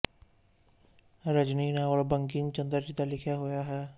Rajni novel Bankim Chandra ji ਦਾ ਲਿਖਿਆ ਹੋਇਆ ਹੈ